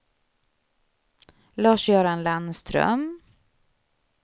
Lars-Göran Landström